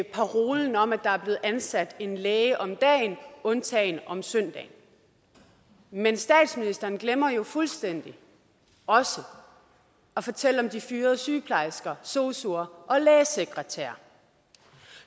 parolen om at der er blevet ansat en læge om dagen undtagen om søndagen men statsministeren glemmer jo fuldstændig også at fortælle om de fyrede sygeplejersker sosuer og lægesekretærer